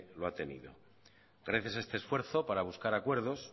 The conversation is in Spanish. lo ha tenido gracias a este esfuerzo para tener acuerdos